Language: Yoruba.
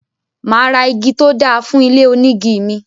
Máa ra igi tó dáa fún ilé onígi mi.